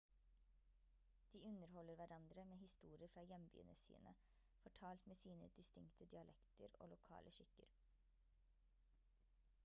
de underholder hverandre med historier fra hjembyene sine fortalt med sine distinkte dialekter og lokale skikker